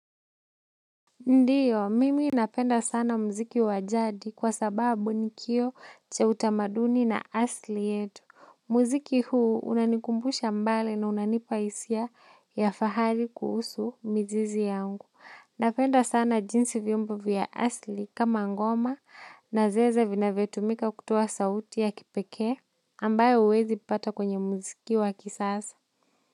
Ndiyo, mimi napenda sana mziki wabjadi kwa sababu ni kioo cha utamaduni na asili yetu. Muziki hii unanikumbusha mbali na unanipa hisia ya fahari kuhusu mizizi yangu napenda sana jinsi vyombo vya asili kama ngoma na zeze vinavyotumika kutoa sauti ya kipekee ambayo huwezi pata kwenye muziki wa kisasa.